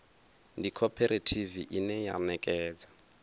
ndi khophorethivi ine ya ṋekedza